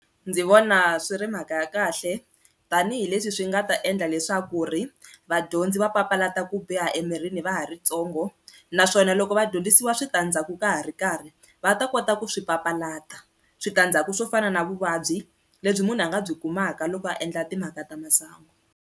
Ndzi vona swi ri mhaka ya kahle tanihileswi swi nga ta endla leswaku ri vadyondzi va papalata ku biha emirini va ha ri ntsongo naswona loko vadyondzisiwa switandzhaku ka ha ri karhi va ta kota ku swi papalata, switandzhaku swo fana na vuvabyi lebyi munhu a nga byi kumaka loko a endla timhaka ta masangu.